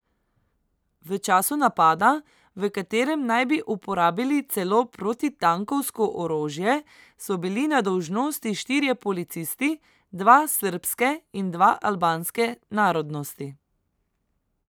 V času napada, v katerem naj bi uporabili celo protitankovsko orožje, so bili na dolžnosti štirje policisti, dva srbske in dva albanske narodnosti.